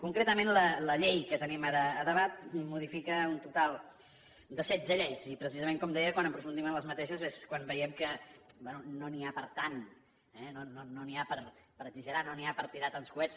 concretament la llei que tenim ara a debat modifica un total de setze lleis i precisament com deia quan aprofundim en aquestes és quan veiem que bé no n’hi ha per tant eh no n’hi ha per exagerar no n’hi ha per tirar tants coets